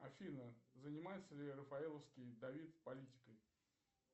афина занимается ли рафаэловский давид политикой